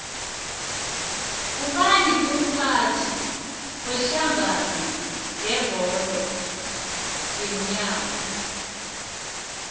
ngubani umphathi wedlangano yebholo yeenyawo